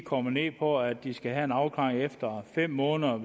kommer ned på at de skal have en afklaring efter fem måneder